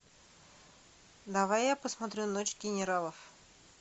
давай я посмотрю ночь генералов